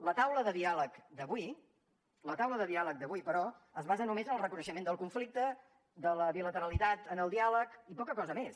la taula de diàleg d’avui la taula de diàleg d’avui però es basa només en el reconeixement del conflicte de la bilateralitat en el diàleg i poca cosa més